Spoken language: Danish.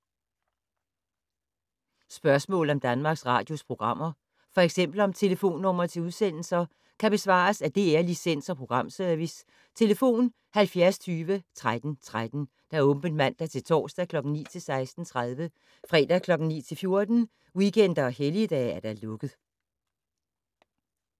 Spørgsmål om Danmarks Radios programmer, f.eks. om telefonnumre til udsendelser, kan besvares af DR Licens- og Programservice: tlf. 70 20 13 13, åbent mandag-torsdag 9.00-16.30, fredag 9.00-14.00, weekender og helligdage: lukket.